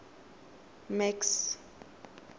max